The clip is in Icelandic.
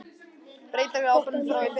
Breytingar eru áberandi frá í fyrra